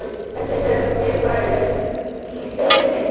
Hélduð þið að þeir væru í hlöðunni minni?